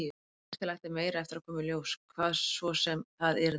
Líkast til ætti meira eftir að koma í ljós, hvað svo sem það yrði.